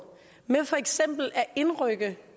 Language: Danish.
med for eksempel at indrykke